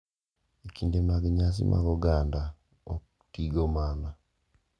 e kinde mag nyasi mag oganda ok tigo mana ,